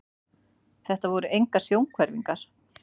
Þetta voru engar sjónhverfingar.